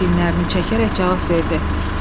Kapitan çiynlərini çəkərək cavab verdi.